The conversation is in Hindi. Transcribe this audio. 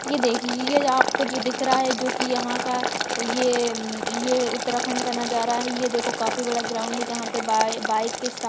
ये देखिए ये आपको जो दिख रहा है जो की यहाँ का ये यमं ये उत्तराखंड का नजरए है ये देखो काफी बड़ा ग्राउन्ड है जहाँ पे बआई -बाइक के सट--